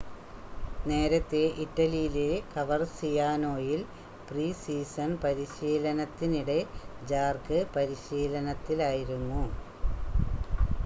നേരത്തെ ഇറ്റലിയിലെ കവർസിയാനോയിൽ പ്രീ-സീസൺ പരിശീലനത്തിനിടെ ജാർക്ക് പരിശീലനത്തിലായിരുന്നു